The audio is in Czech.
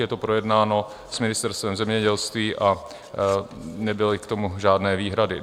Je to projednáno s Ministerstvem zemědělství a nebyly k tomu žádné výhrady.